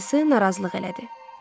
Dayısı narazılıq elədi.